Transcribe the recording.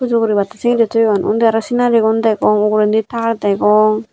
pujo guribatte sengori toyon unni aro sinarigun degong ugurendi tar degong.